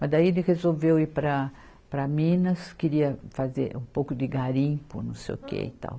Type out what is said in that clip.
Mas daí ele resolveu ir para, para Minas, queria fazer um pouco de garimpo, não sei o que e tal.